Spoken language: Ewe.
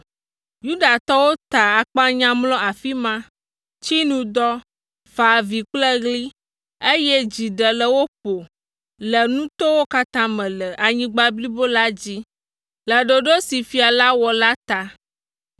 Yudatɔwo ta akpanya mlɔ afi ma, tsi nu dɔ, fa avi kple ɣli, eye dzi ɖe le wo ƒo le nutowo katã me le anyigba blibo la dzi le ɖoɖo si fia la wɔ la ta.